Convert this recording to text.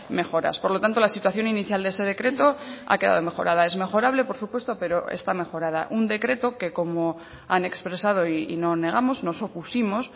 mejoras por lo tanto la situación inicial de ese decreto ha quedado mejorada es mejorable por supuesto pero está mejorada un decreto que como han expresado y no negamos nos opusimos